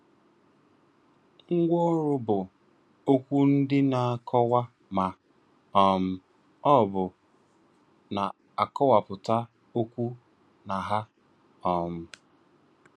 Ngwaọrụ bụ okwu ndi na-akọwa ma um ọ bụ na-akọwapụta okwu na aha. um